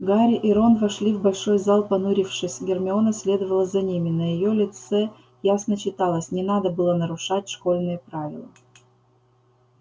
гарри и рон вошли в большой зал понурившись гермиона следовала за ними на её лице ясно читалось не надо было нарушать школьные правила